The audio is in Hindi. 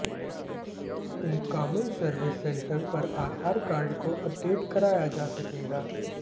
इन कॉमन सर्विस सेंटर पर आधार कार्ड को अपडेट कराया जा सकेगा